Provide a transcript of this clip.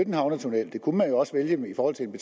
en havnetunnel det kunne man jo også vælge i forhold til en